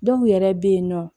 Dɔw yɛrɛ bɛ yen nɔ